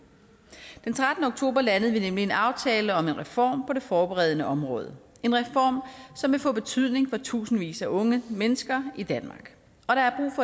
den trettende oktober landede vi nemlig en aftale om en reform på det forberedende område en reform som vil få betydning for tusindvis af unge mennesker i danmark